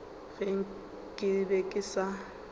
ge ke be ke sa